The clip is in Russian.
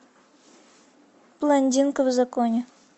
блондинка в законе